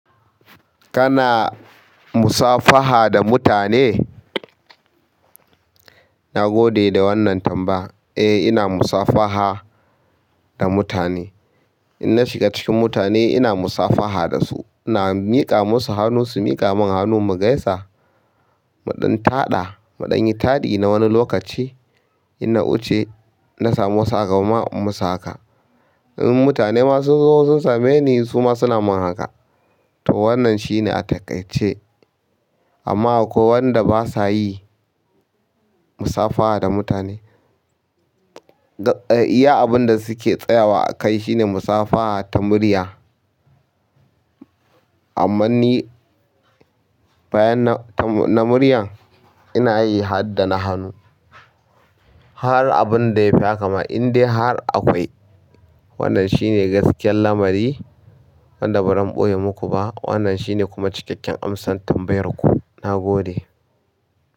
Kana musafaha da mutane? Na gode da wannan tamba. Eh, ina musafaha da mutane. In na shiga cikin mutane, ina musafaha da su. Ina miƙa musu hannu, su miƙa min hannu mu gaisa. Mu ɗan taɗa, muɗanyi taɗi na wani lokaci. In na wuce na samu wasu agaba ma in musu haka. In mutane ma sun zo sun same ni, su ma suna man haka. To wannan shine a takaice. Amma akwai wanda ba sa yi musafaha da mutane. Eh, iya abin da suke tsayawa a kai shine musafaha ta murya. Amman ni bayan na ta muryan, ina yi har da na hannu. Har abun da ya fi haka ma, in dai har akwai. Wannan shine gaskiyar lamari wadda ba zan ɓoye muku ba. Wannan shine kuma cikakken amsar tambayar ku. Na gode.